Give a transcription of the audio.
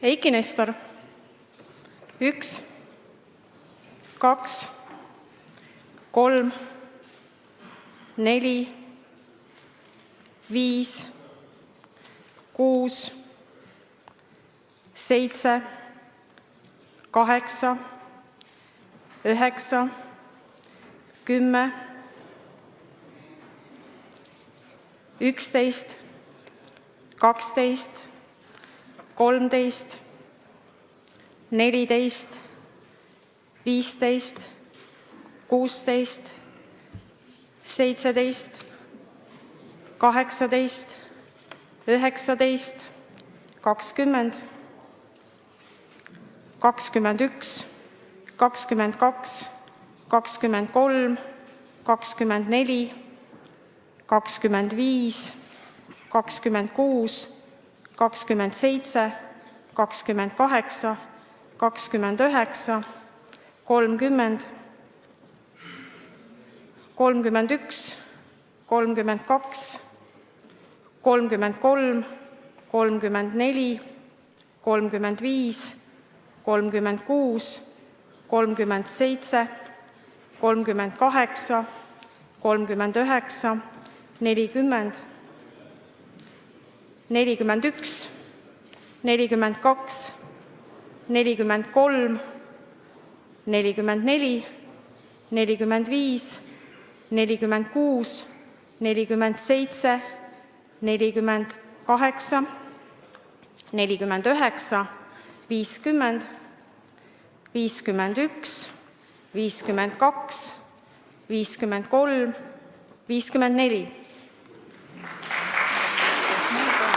Eiki Nestor: 1, 2, 3, 4, 5, 6, 7, 8, 9, 10, 11, 12, 13, 14, 15, 16, 17, 18, 19, 20, 21, 22, 23, 24, 25, 26, 27, 28, 29, 30, 31, 32, 33, 34, 35, 36, 37, 38, 39, 40, 41, 42, 43, 44, 45, 46, 47, 48, 49, 50, 51, 52, 53, 54.